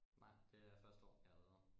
Nej det er første år jeg har været der